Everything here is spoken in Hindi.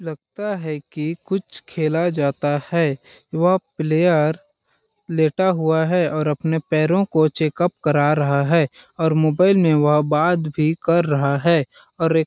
लगता है की कुछ खेला जाता है वह प्लेयर लेटा हुआ है और अपने पैरों को चेकप करा रहा है और मोबाईल में वह बात भी कर रहा है और एक--